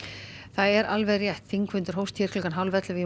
það er alveg rétt þingfundur hófst hálf ellefu